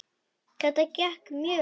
Þetta gekk mjög vel.